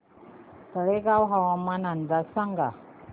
तळेगाव हवामान अंदाज सांगा